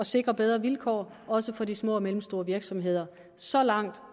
sikre bedre vilkår også for de små og mellemstore virksomheder så langt